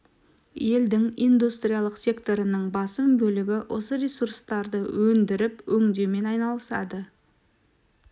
елдің индустриалық секторының басым бөлігі осы ресурстарды өндіріп-өңдеумен айналысады